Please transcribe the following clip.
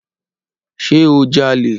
Ṣe o jale?